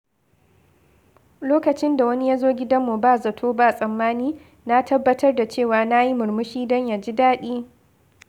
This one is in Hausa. Lokacin da wani ya zo gidanmu ba zato ba tsammani, na tabbatar da cewa na yi murmushi don ya ji daɗi.